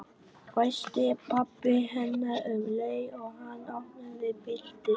hvæsti pabbi hennar um leið og hann opnaði bíldyrnar.